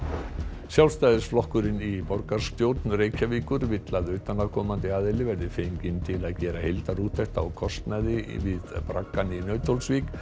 Sjálfstæðisflokkurinn í borgarstjórn Reykjavíkur vill að utanaðkomandi aðili verði fenginn til að gera heildarúttekt á kostnaðinum við braggann í Nauthólsvík